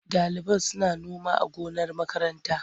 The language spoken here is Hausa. Ɗaliban suna noma a gonar makaranta.